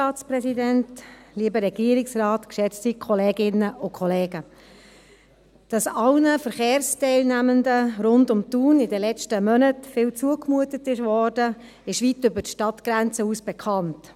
Dass allen Verkehrsteilnehmenden rund um Thun in den letzten Monaten viel zugemutet wurde, ist weit über die Stadtgrenzen hinaus bekannt.